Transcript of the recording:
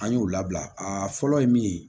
An y'o labila a fɔlɔ ye min ye